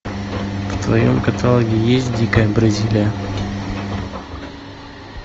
в твоем каталоге есть дикая бразилия